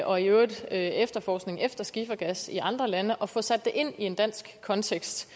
og i øvrigt efterforskning efter skifergas i andre lande og får sat det ind i en dansk kontekst